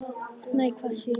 Nei, hvað sé ég!